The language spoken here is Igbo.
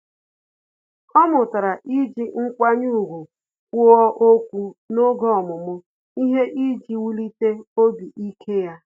Ọ́ mụtara iji nkwanye ùgwù kwuo okwu n’oge ọmụmụ ihe iji wulite obi ike ya.